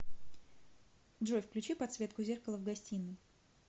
джой включи подсветку зеркала в гостиной